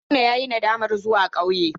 Haruna yayi nadamar zuwa kauye.